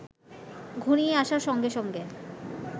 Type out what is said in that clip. ঘনিয়ে আসার সঙ্গে সঙ্গে